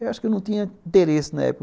Eu acho que eu não tinha interesse na época.